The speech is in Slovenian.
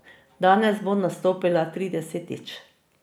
Danes bo nastopila tridesetič.